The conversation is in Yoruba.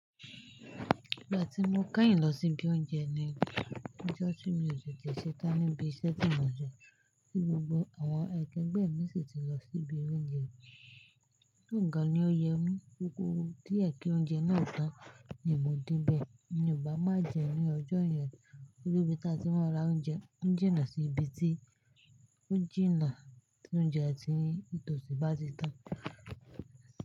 Ìgbà tí mo keyìn lọ sí ibi oúnjẹ ni ọjọ́ tí mi o tete ṣetán níbi iṣẹ́ tí mò ń sẹ́, tí gbogbo àwọn akẹgbẹ́ mi sì ti lọ sí ibi oúnjẹ. Olorun gan ni ó yo mi, o kuu díẹ̀ kí oúnjẹ náà tán ni mò ń de bẹ̀. Mi o ba máa jẹun ní ọjọ́ yẹn, tori ibí táa ti mọ́ra oúnjẹ, ó ń jìnnà sí ibi tí ó jìnnà tí oúnjẹ ti tò sí bá ti tán.